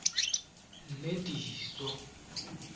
nediso